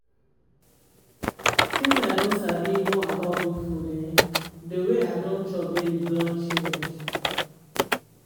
since i don sabi more about good food um the way i dey chop daily don change